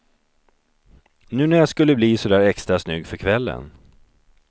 Nu när jag skulle bli så där extra snygg för kvällen.